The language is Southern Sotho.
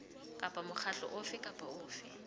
kapa mokgatlo ofe kapa ofe